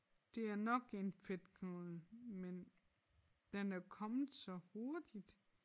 Det er nok en fedtknude men den er kommet så hurtigt